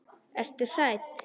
Ertu hrædd?